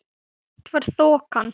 Eitt var þokan.